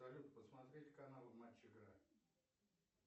салют посмотреть канал матч игра